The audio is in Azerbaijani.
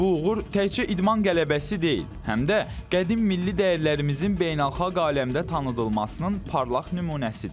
Bu uğur təkcə idman qələbəsi deyil, həm də qədim milli dəyərlərimizin beynəlxalq aləmdə tanıdılmasının parlaq nümunəsidir.